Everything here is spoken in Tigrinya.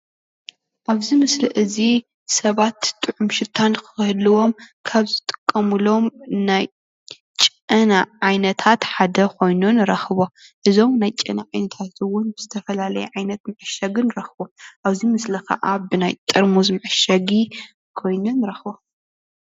ኣብዚ ምስሊ እዚ ሰባት ጥዑም ሽታ ንክህልዎም ካብ ዝጥቀምሎም ናይ ጨና ዓይነታት ሓደ ኮይኑ ንረክቦ፡፡ እዞም ናይ ጨና ዓይነታት እውን ዝተፈላለየ ዓይነት መዐሺጊ ንረክቦ፡፡ ኣብዚ ምስሊ ከዓ ብናይ ጥርሙዝ መዐሸጊ ኮይኑ ንረክቦ፡፡